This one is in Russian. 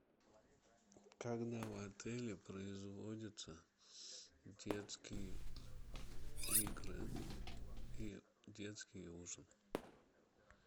когда в отеле производятся детские игры и детский ужин